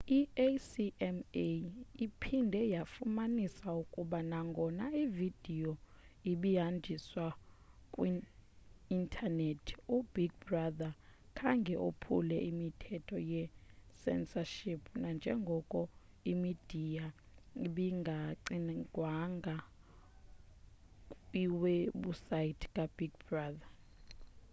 i-acma iphinde yafumanisa ukuba nagona ividiyo ibihanjiswa kwi-intanethi ubig brother khange ophule imithetho ye-censorship nanjengoko imidiya ibingagcinwanga kwiwebhusaythi kabig brother